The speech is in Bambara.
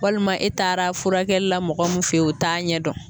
Walima e taara furakɛlila mɔgɔ min fe yen, o t'a ɲɛdɔn